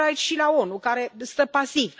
Mă refer aici și la ONU, care stă pasiv.